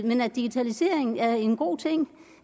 men at digitalisering er en god ting